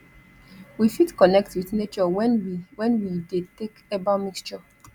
we fit connect with nature when we when we de take herbal mixture